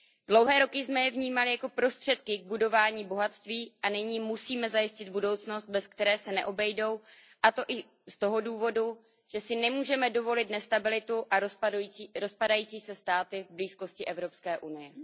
Dlouhé roky jsme je vnímali jako prostředky k budování bohatství a nyní musíme zajistit budoucnost, bez které se neobejdou, a to i z toho důvodu, že si nemůžeme dovolit nestabilitu a rozpadající se státy v blízkosti Evropské unie.